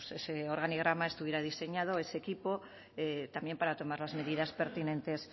bueno pues ese organigrama estuviera diseñado es equipo también para tomar las medidas pertinentes